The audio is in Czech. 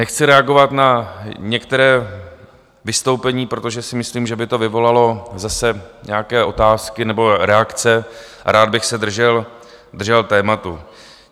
Nechci reagovat na některá vystoupení, protože si myslím, že by to vyvolalo zase nějaké otázky nebo reakce, a rád bych se držel tématu.